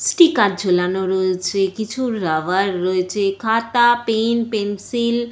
Sticker ঝোলানো রয়েছে। কিছু রাবার রয়েছে। খাতা পেন পেন্সিল --